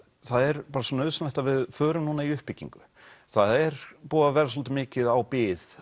það er bara svo nauðsynlegt að við förum núna í uppbyggingu það er búið að vera svolítið mikið á bið